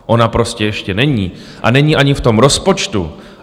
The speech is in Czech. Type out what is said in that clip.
Ona prostě ještě není a není ani v tom rozpočtu.